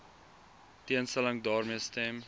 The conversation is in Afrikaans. teenstelling daarmee stem